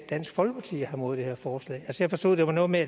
dansk folkeparti har imod det her forslag jeg forstod at det var noget med